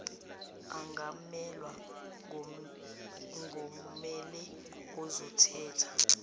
angamelwa ngomele ezomthetho